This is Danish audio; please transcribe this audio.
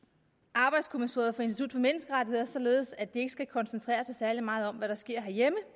arbejdskommissoriet for institut for menneskerettigheder således at de ikke skal koncentrere sig særlig meget om hvad der sker herhjemme